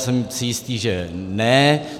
Jsem si jistý, že ne.